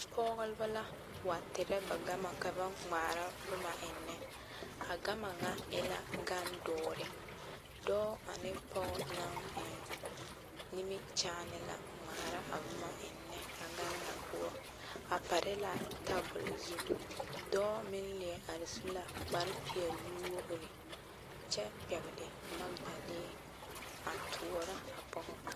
Pɔgeba la wa terɛ ba gama ka ba ŋmaara boma eŋnɛ a gama ŋa e la gandoɔre dɔɔ ane pɔge naŋ eŋ nimikyaane la ŋmaara a boma eŋnɛ a gane ŋa poɔ a pare la tabol zu dɔɔ meŋ leɛ are su la kpare peɛlle nuwogre kyɛ pɛgle magedalee a toɔrɔ a pɔge ŋa.